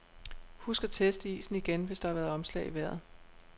Husk at teste isen igen, hvis der har været omslag i vejret.